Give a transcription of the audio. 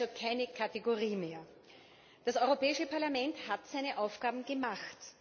Geduld ist also keine Kategorie mehr. Das Europäische Parlament hat seine Aufgaben gemacht.